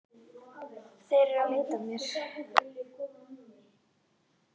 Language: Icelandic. Þeir eru að leita að mér